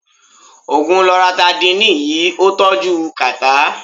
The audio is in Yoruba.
Ògùn Loratidínìì yí ọ́ tọ́jú kàtà.